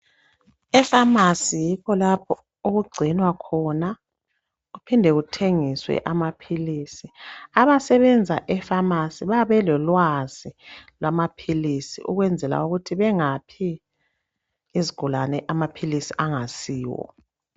Efamasi yikho lapho okugcinwa khona kuphindwe kuthengiswa amaphilisi. Abasebenza efamasi babelolwazi lwamaphilisi ukwenzela ukuthi bengaphi izigulane amaphilisi angayisiwo.